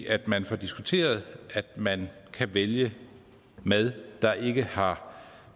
at man får diskuteret at man kan vælge mad der ikke har